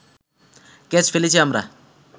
catch ফেলেছি আমরা